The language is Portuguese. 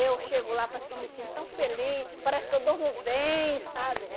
Eu chego lá, parece que eu me sinto tão feliz, parece que eu durmo bem, sabe?